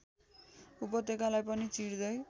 उपत्यकालाई पनि चिर्दै